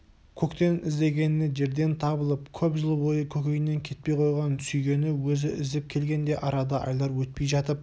көктен іздегені жерден табылып көп жыл бойы көкейінен кетпей қойған сүйгені өзі іздеп келгенде арада айлар өтпей жатып